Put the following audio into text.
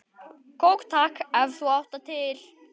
Kók takk, ef þú átt það til!